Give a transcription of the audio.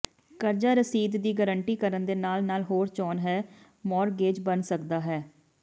ਕਰਜ਼ਾ ਰਸੀਦ ਦੀ ਗਾਰੰਟੀ ਕਰਨ ਦੇ ਨਾਲ ਨਾਲ ਹੋਰ ਚੋਣ ਹੈ ਮੌਰਗੇਜ ਬਣ ਸਕਦਾ ਹੈ